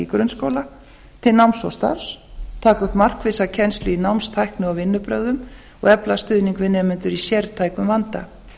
grunnskóla til náms og starfs taka upp markvissa kennslu í náms tækni og vinnubrögðum og efla stuðning við nemendur í sértækum vanda